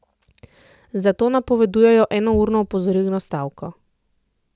Zato napovedujejo enourno opozorilno stavko.